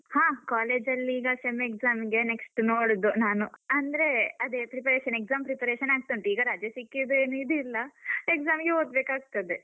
ಹ college ಅಲ್ಲಿ ಈಗ sem exam ಗೆ next ನೋಡುದು ನಾನು. ಅಂದ್ರೆ ಅದೇ preparation exam preparation ಆಗ್ತಾ ಉಂಟು. ಈಗ ರಜೆ ಸಿಕ್ಕಿದ್ರೆ ಏನ್ ಇದಿಲ್ಲ. exam ಗೆ ಓದ್ಬೇಕಾಗ್ತದೆ